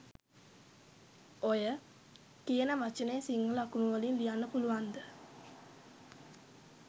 ඔය “” කියන වචනය සිංහල අකුරු වලින් ලියන්න පුළුවන්ද?